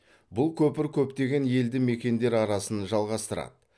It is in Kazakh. бұл көпір көптеген елді мекендер арасын жалғастырады